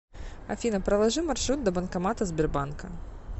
афина проложи маршрут до банкомата сбербанка